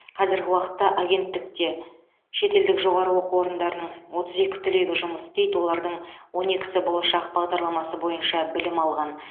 қазіргі уақытта агенттікте шетелдік жоғары оқу орындарының отыз екі түлегі жұмыс істейді олардың он екісі болашақ бағдарламасы бойынша білім алған